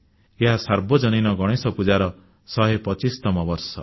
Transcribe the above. ଏହା ସାର୍ବଜନୀନ ଗଣେଶ ପୂଜାର 125ତମ ବର୍ଷ